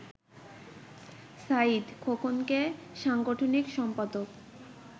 সাঈদ খোকনকে সাংগঠনিক সম্পাদক